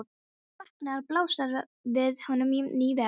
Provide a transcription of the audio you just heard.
Þegar hann vaknar blasir við honum ný veröld.